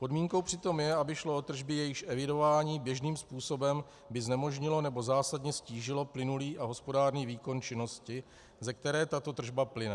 Podmínkou přitom je, aby šlo o tržby, jejichž evidování běžným způsobem by znemožnilo nebo zásadně ztížilo plynulý a hospodárný výkon činnosti, z které tato tržba plyne.